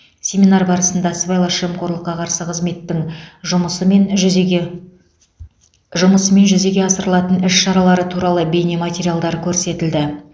семинар барысында сыбайлас жемқорлыққа қарсы қызметтің жұмысы мен жүзеге жұмысы мен жүзеге асырылатын іс шаралары туралы бейнематериалдар көрсетілді